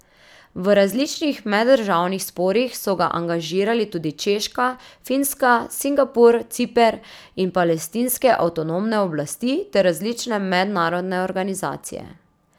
V različnih meddržavnih sporih so ga angažirali tudi Češka, Finska, Singapur, Ciper in palestinske avtonomne oblasti ter različne mednarodne organizacije.